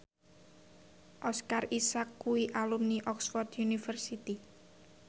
Oscar Isaac kuwi alumni Oxford university